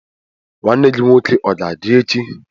Nwanne gi nwoke ọ ga-adị echi?